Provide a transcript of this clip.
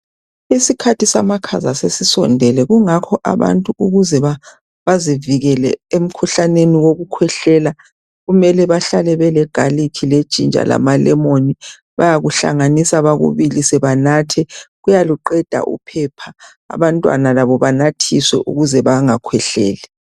Isikhathi samakhaza sesisondele kungakho abantu ukuze bazivikele emkhuhlaneni wokukhwehlela mele bahlale bele ginger le garlic lamalemoni, bayakuhlanganisa bakubilise banathe kuyaluqeda uphepha, abantwana labo banathiswe ukuze bangakhwehleli